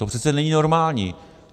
To přece není normální!